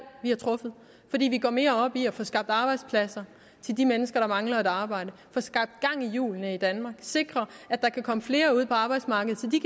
vi har truffet fordi vi går mere op i at få skabt arbejdspladser til de mennesker der mangler et arbejde få skabt gang i hjulene i danmark sikre at der kan komme flere ud på arbejdsmarkedet så de